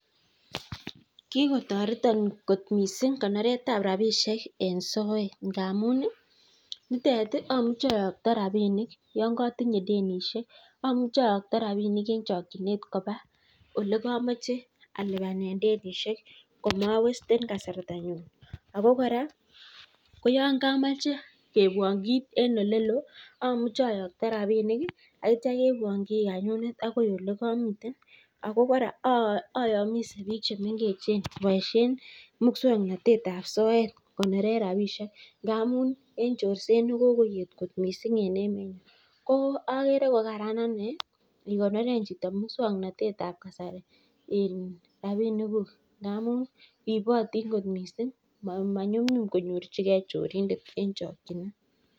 Kikotareten kot missing konoretab rabinik en soet ngamun, nitet amuche ayakta rabinik Yoon katinye denishek, amuche ayakta en chakchinet koba olekamache alibanen denishek amawesten kasarta nyun Ako kora ko yoon kamache keibuan kit en elelo amuche ayakta rabinik ih aitya keibuan kiika nyonet agoi olekamiten Ako kora ayamise bik chemengech kobaishien mukswanotetab soet kokoniren rabinik ngamun en chorset nekokoet got missing en emoni. Ko agere ko kararan ane ikoneren chito misuaknated tab kasari rabinik kuk ngamun ribotin kot missing maimuch konyorchike chorindet en chakchinet